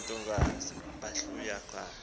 bale ntokazi yahlukana